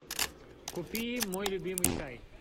купи мой любимый чай